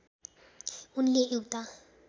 उनले एउटा